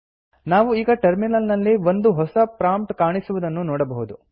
ನಾವು ಈಗ ಟರ್ಮಿನಲ್ ನಲ್ಲಿ ಒಂದು ಹೊಸ ಪ್ರಾಂಪ್ಟ್ ಕಾಣಿಸುವುದನ್ನು ನೋಡಬಹುದು